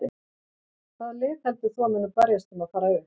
Hvaða lið heldur þú að muni berjast um að fara upp?